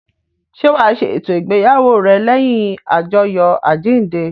Ṣé wa ṣe eto ìgbéyàwó rẹ lẹ́yìn ajoyo àjíǹde?